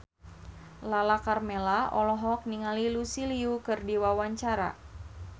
Lala Karmela olohok ningali Lucy Liu keur diwawancara